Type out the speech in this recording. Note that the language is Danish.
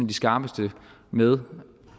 de skarpeste med